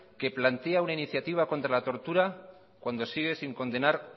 que plantea una iniciativa contra la tortura cuando sigue sin condenar